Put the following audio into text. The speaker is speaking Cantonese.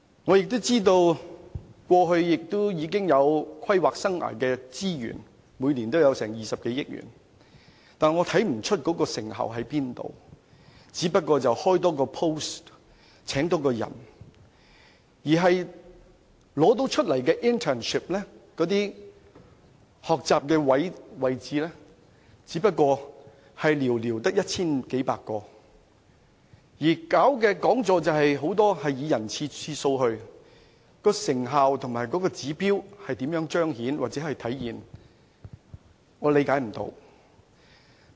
我也知道政府過去已撥備規劃生涯的資源，每年有20多億元，但我看不到花費這筆錢後有何成效，只不過是多開設1個職位，多聘請1名員工罷了，而那些開設的實習職位，只有寥寥一千幾百個，雖然出席講座的人次很多，但有關成效和指標如何彰顯或體現，我卻不能理解。